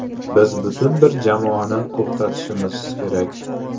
Biz butun bir jamoani to‘xtatishimiz kerak.